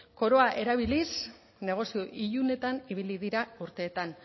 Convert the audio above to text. koroa erabiliz negozio ilunetan ibili dira urteetan